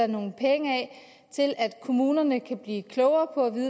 nogle penge til at kommunerne kan blive klogere på